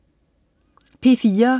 P4: